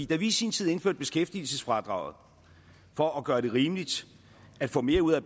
da vi i sin tid indførte beskæftigelsesfradraget for at gøre det rimeligt at få mere ud af